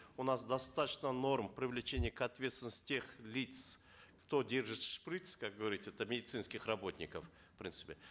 у нас достаточно норм привлечения к ответственности тех лиц кто держит шприц как говорится это медицинских работников в принципе